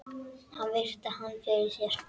Hann virti hana fyrir sér.